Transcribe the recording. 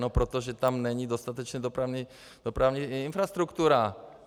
No protože tam není dostatečná dopravní infrastruktura.